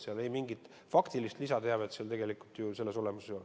Seal mingit faktilist lisateavet tegelikult ei ole.